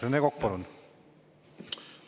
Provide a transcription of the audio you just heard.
Rene Kokk, palun!